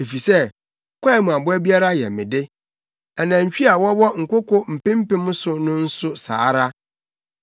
efisɛ kwae mu aboa biara yɛ me de, anantwi a wɔwɔ nkoko mpempem so nso saa ara.